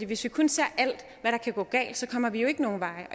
hvis vi kun ser alt hvad der kan gå galt så kommer vi jo ikke nogen vegne